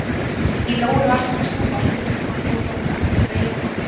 Í nógu var samt að snúast við að þvo þvotta, strauja og pakka niður.